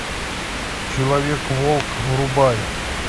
человек волк врубай